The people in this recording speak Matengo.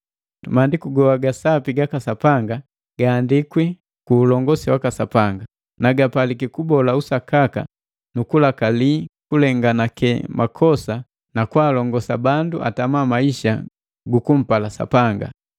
Maandiku goa ga sapi gaka Sapanga gaandikwi ku ulongosi waka Sapanga, na gapaliki kubola usakaka nu kulakali kulenganake makosa nukwaalongosa bandu atama maisa gajupala Sapanga,